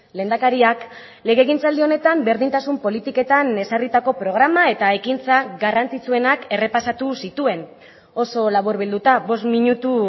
lehendakariak legegintzaldi honetan berdintasun politiketan ezarritako programa eta ekintza garrantzitsuenak errepasatu zituen oso laburbilduta bost minutu